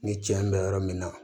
Ni tiɲɛ bɛ yɔrɔ min na